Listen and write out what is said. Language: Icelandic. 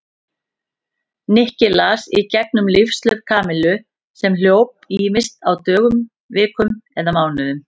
Nikki las í gegnum lífshlaup Kamillu sem hljóp ýmist á dögum, vikum eða mánuðum.